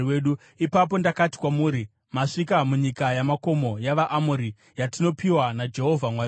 Ipapo ndakati kwamuri, “Masvika munyika yamakomo yavaAmori, yatinopiwa naJehovha Mwari wedu.